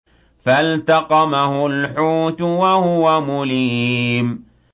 فَالْتَقَمَهُ الْحُوتُ وَهُوَ مُلِيمٌ